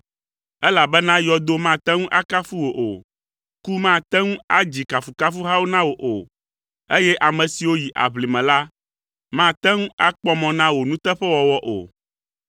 Elabena yɔdo mate ŋu akafu wò o, ku mate ŋu adzi kafukafuhawo na wò o, eye ame siwo yi aʋlime la mate ŋu akpɔ mɔ na wò nuteƒewɔwɔ o.